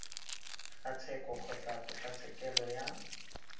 ga tsheko kgotsa kgotlatshekelo ya